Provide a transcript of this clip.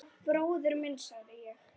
Bróðir minn, sagði ég.